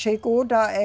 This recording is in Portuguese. Chegou da